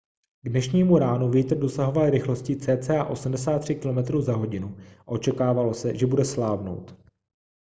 k dnešnímu ránu vítr dosahoval rychlosti cca 83 km/h a očekávalo se že bude slábnout